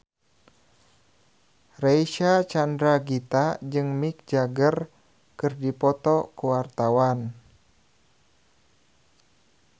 Reysa Chandragitta jeung Mick Jagger keur dipoto ku wartawan